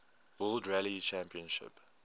world rally championship